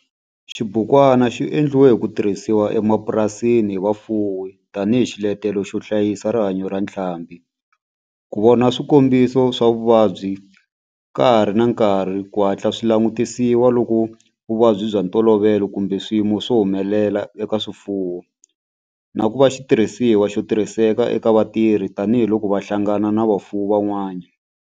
Xibukwana xi endliwe ku tirhisiwa emapurasini hi vafuwi tani hi xiletelo xo hlayisa rihanyo ra ntlhambhi, ku vona swikombiso swa vuvabyi ka ha ri na nkarhi ku hatla swi langutisiwa loko vuvabyi bya ntolovelo kumbe swiyimo swi humelela eka swifuwo, na ku va xitirhisiwa xo tirhiseka eka vatirhi tani hi loko va hlangana na vafuwi van'wana.